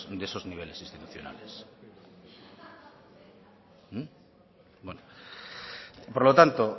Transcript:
de esos niveles institucionales por lo tanto